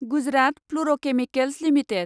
Gujarat fluorochemicals limited